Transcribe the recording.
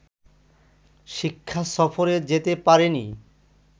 শিক্ষা সফরে যেতে পারেনি